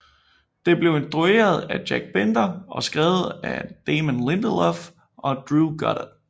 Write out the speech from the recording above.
Det blev instrueret af Jack Bender og skrevet af Damon Lindelof og Drew Goddard